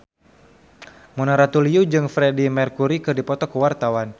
Mona Ratuliu jeung Freedie Mercury keur dipoto ku wartawan